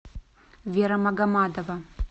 вера магомадова